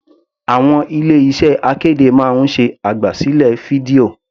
Àwọn ilé iṣẹ́ akéde máa ń ṣe àgbà sílẹ̀ fídíò.